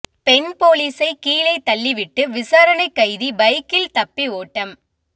பெண் போலீசை கீழே தள்ளிவிட்டு விசாரணை கைதி பைக்கில் தப்பி ஓட்டம்